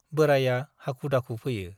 बोराइया हाखु - दाखु फैयो ।